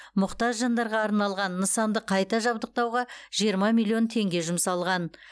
мұқтаж жандарға арналған нысанды қайта жабдықтауға жиырма миллион теңге жұмсалған